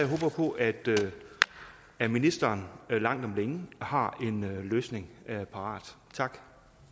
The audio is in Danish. at ministeren langt om længe har en løsning parat tak